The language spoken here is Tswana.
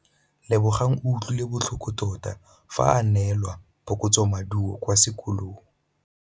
Lebogang o utlwile botlhoko tota fa a neelwa phokotsômaduô kwa sekolong.